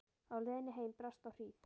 Á leiðinni heim brast á hríð.